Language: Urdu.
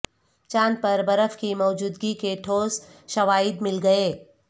چاند پر برف کی موجودگی کے ٹھوس شواہد مل گئے